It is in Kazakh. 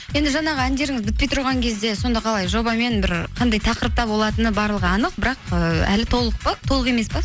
енді жаңағы әндеріңіз бітпей тұрған кезде сонда қалай жобамен бір қандай тақырыпта болатыны барығы анық бірақ ыыы әлі толық емес пе